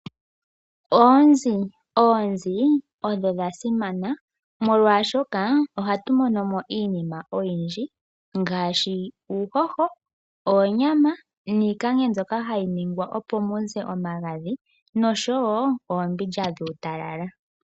Oonzi, oonzi ondho dhasimana molwaashoka ohatu monomo iinima oyindji ngaashi uuhoho, onyama niikangwe mbyoka hayi ningwa opo muze omagandhi noshowo oombindja dhuutalala.